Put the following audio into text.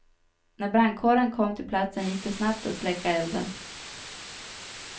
När brandkåren kom till platsen gick det snabbt att släcka elden.